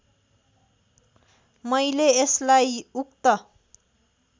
मैले यसलाई उक्त